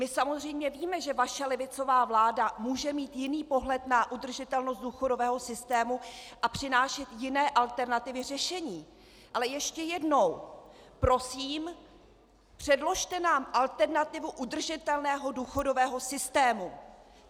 My samozřejmě víme, že vaše levicová vláda může mít jiný pohled na udržitelnost důchodového systému a přinášet jiné alternativy řešení, ale ještě jednou prosím, předložte nám alternativu udržitelného důchodového systému.